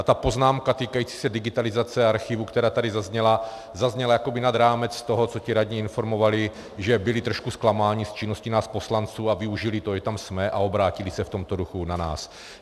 A ta poznámka týkající se digitalizace archivu, která tady zazněla, zazněla jakoby nad rámec toho, co ti radní informovali, že byli trošku zklamáni z činnosti nás poslanců, a využili toho, že tam jsme, a obrátili se v tomto duchu na nás.